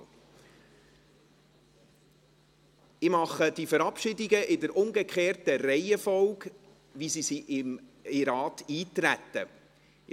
Ich mache diese Verabschiedungen in der umgekehrten Reihenfolge, in der sie in den Rat eingetreten sind.